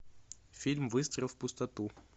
фильм выстрел в пустоту